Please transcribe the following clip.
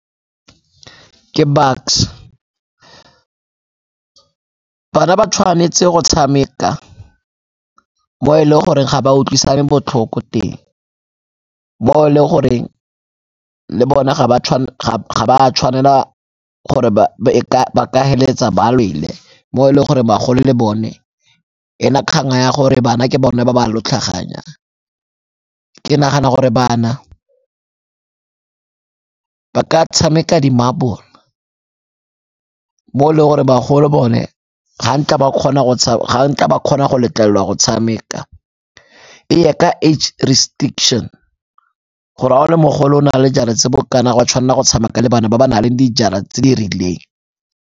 Ke Bucks-e, bana ba tshwanetse go tshameka mo e le goreng ga ba utlwisane botlhoko teng, mo e le goreng le bona ga ba tshwanela gore ba ka feleletsa ba lwele mo e le gore bagolo le bone e na kgang ya gore bana ke bone ba ba . Ke nagana gore bana ba ka tshameka di-marble mo e le gore bagolo bone ga nka ba kgona go letlelelwa go tshameka e ye ka age restriction gore ga o le mogolo na le jara tse bokana ga o a tshwanela go tshameka le bana ba ba na leng dijara tse di rileng.